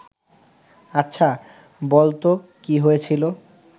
আচ্ছা, বলতো কী হয়েছিল